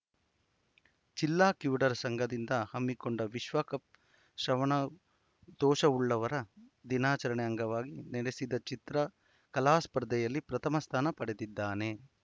ಜಿಲ್ಲಾ ಕಿವುಡರ ಸಂಘದಿಂದ ಹಮ್ಮಿಕೊಂಡ ವಿಶ್ವ ಕಪ್ ಶ್ರವಣದೋಷವುಳ್ಳವರ ದಿನಾಚರಣೆ ಅಂಗವಾಗಿ ನಡೆಸಿದ ಚಿತ್ರ ಕಲಾಸ್ಪರ್ಧೆಯಲ್ಲಿ ಪ್ರಥಮ ಸ್ಥಾನ ಪಡೆದಿದ್ದಾನೆ